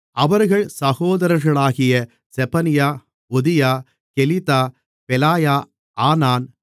அவர்கள் சகோதரர்களாகிய செபனியா ஒதியா கெலிதா பெலாயா ஆனான்